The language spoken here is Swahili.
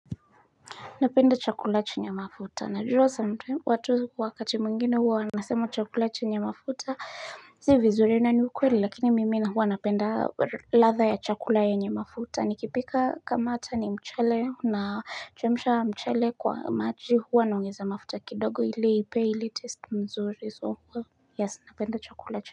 Napenda chakula chenye mafuta najua some time watu wakati mungine huwa Anasema chakula chenye mafuta si vizur na ni ukweli lakini mimi huwa napenda ladha ya chakula yenye mafuta nikipika kama hata ni mchele nachemsha mchele kwa maji huwa naongeza mafuta kidogo ili ipe ili test mzuri so huwa Yes napenda chakula chenye.